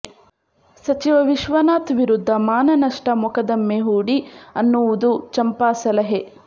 ಸಚಿವ ವಿಶ್ವನಾಥ್ ವಿರುದ್ಧ ಮಾನನಷ್ಟ ಮೊಕದ್ದಮೆ ಹೂಡಿ ಅನ್ನುವುದು ಚಂಪಾ ಸಲಹೆ